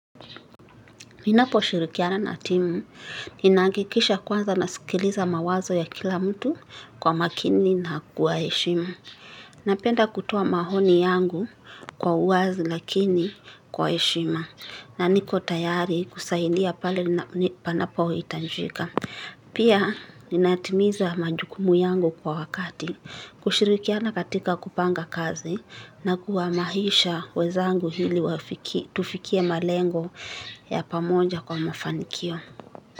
Ninapo shirikiana na timu, nina hakikisha kwanza na sikiliza mawazo ya kila mtu kwa makini na kuwa heshimu. Napenda kutoa mahoni yangu kwa uwazi lakini kwa heshima na niko tayari kusahidia ni pale panapo hitanjika. Pia ninatimiza majukumu yangu kwa wakati, kushirikiana katika kupanga kazi na kuwahamisha wezangu hili wafiki tufikie malengo ya pamoja kwa mafanikio.